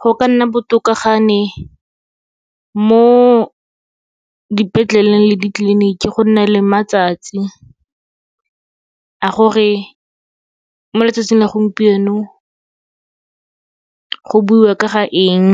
Go ka nna botoka ga ne mo dipetleleng le ditleliniki, go nna le matsatsi a gore mo letsatsing la gompieno go buiwa ka ga eng,